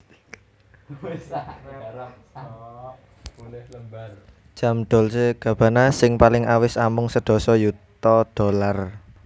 Jam Dolce Gabbana sing paling awis amung sedasa yuta dollar